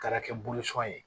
Taara kɛ ye